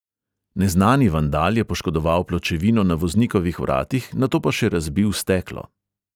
Neznani vandal je poškodoval pločevino na voznikovih vratih, nato pa še razbil steklo.